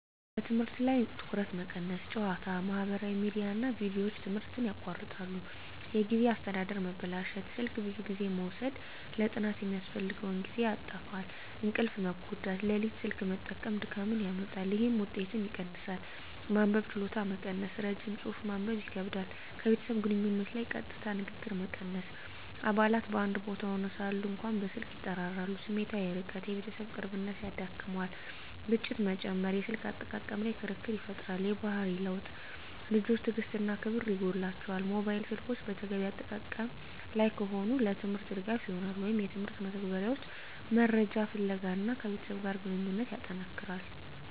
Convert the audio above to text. በትምህርት ላይ ትኩረት መቀነስ ጨዋታ፣ ማህበራዊ ሚዲያ እና ቪዲዮዎች ትምህርትን ያቋርጣሉ። የጊዜ አስተዳደር መበላሸት ስልክ ብዙ ጊዜ መውሰድ ለጥናት የሚያስፈልገውን ጊዜ ያጣፋፋል። እንቅልፍ መጎዳት ሌሊት ስልክ መጠቀም ድካምን ያመጣል፣ ይህም ውጤትን ይቀንሳል። መንበብ ችሎታ መቀነስ ረጅም ጽሑፍ ማንበብ ይከብዳል። ከቤተሰብ ግንኙነት ላይ ቀጥታ ንግግር መቀነስ አባላት በአንድ ቦታ ሆነው ሳሉ እንኳ በስልክ ይጠራራሉ። ስሜታዊ ርቀት የቤተሰብ ቅርብነት ይዳክመዋል። ግጭት መጨመር የስልክ አጠቃቀም ላይ ክርክር ይፈጠራል። የባህሪ ለውጥ ልጆች ትዕግሥት እና ክብር ይጎላቸዋል። ሞባይል ስልኮች በተገቢ አጠቃቀም ላይ ከሆኑ፣ ለትምህርት ድጋፍ ይሆናሉ (የትምህርት መተግበሪያዎች፣ መረጃ ፍለጋ) እና ከቤተሰብ ጋር ግንኙነትን ያጠነክራል።